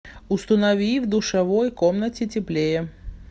установи в душевой комнате теплее